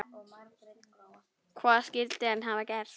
Hvað skyldi hann hafa gert?